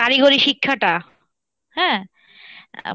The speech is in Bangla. কারিগরী শিক্ষা টা, হ্যাঁ